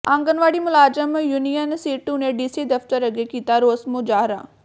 ਆਂਗਨਵਾੜੀ ਮੁਲਾਜ਼ਮ ਯੂਨੀਅਨ ਸੀਟੂ ਨੇ ਡੀਸੀ ਦਫ਼ਤਰ ਅੱਗੇ ਕੀਤਾ ਰੋਸ ਮੁਜ਼ਾਹਰਾ